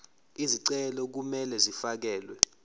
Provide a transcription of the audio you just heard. izicelo kumele zifakelwe